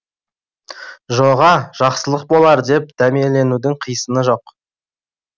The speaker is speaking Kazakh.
жоға жақсылық болар деп дәмеленудің қисыны жоқ